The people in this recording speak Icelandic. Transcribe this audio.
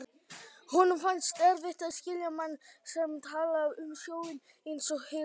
Honum fannst erfitt að skilja mann sem talaði um sjóinn einsog heilsulind.